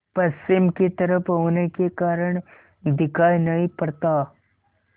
पश्चिम की तरफ होने के कारण दिखाई नहीं पड़ता